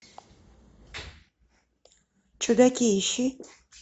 чудаки ищи